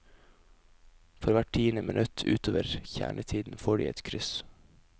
For hvert tiende minutt utover kjernetiden får de et kryss.